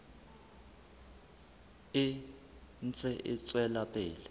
e ntse e tswela pele